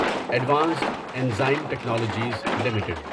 advanced enzyme technologies limited